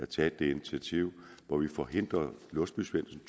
taget et initiativ hvor vi forhindrer låsby svendsen